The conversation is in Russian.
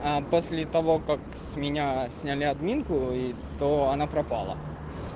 после того как с меня сняли админку и то она пропала